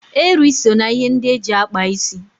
Eri so na ihe ndị eji akpa isi.